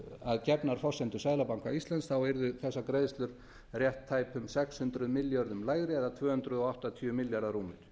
við gefnar forsendur seðlabanka íslands yrðu þessar greiðslur rétt tæpum sex hundruð milljörðum lægri það er rúmir tvö hundruð áttatíu milljarðar